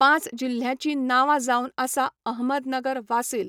पांच जिल्ह्यांची नांवां जावन आसा अहमदनगर वासील